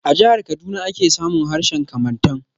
A jihar Kaduna ake samun harshen Kamantan.